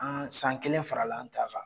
An san kelen farala an ta kan